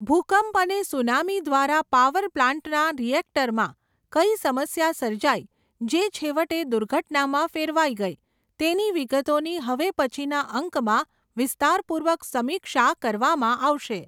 ભૂકંપ અને સુનામી દ્વારા પાવર પ્લાન્ટનાં રિએક્ટરમાં, કઈ સમસ્યા સર્જાઈ, જે છેવટે દુર્ઘટનામાં ફેરવાઈ ગઈ, તેની વિગતોની હવે પછીનાં અંકમાં, વિસ્તારપૂર્વક સમીક્ષા કરવામાં આવશે.